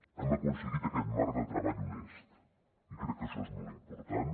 hem aconseguit aquest marc de treball honest i crec que això és molt important